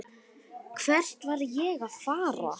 Hvert var ég að fara?